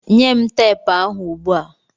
Nye m teepu ahụ ugbu a!